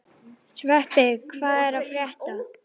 Sveppi, hvað er að frétta?